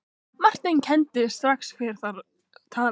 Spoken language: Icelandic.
Marteinn kenndi strax hver þar talaði.